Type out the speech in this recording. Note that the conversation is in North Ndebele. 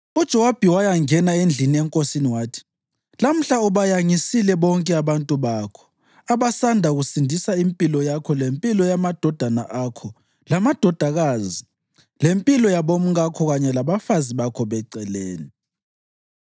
UJowabi wayangena endlini enkosini wathi, “Lamhla ubayangisile bonke abantu bakho, abasanda kusindisa impilo yakho lempilo yamadodana akho lamadodakazi lempilo yabomkakho kanye labafazi bakho beceleni.